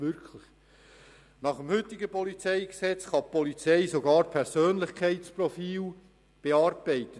Gemäss heutigem PolG kann die Polizei sogar Persönlichkeitsprofile bearbeiten.